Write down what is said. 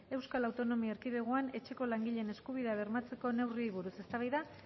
euskal autonomia erkidegoan etxeko langileen eskubideak bermatzeko neurriei buruz eztabaida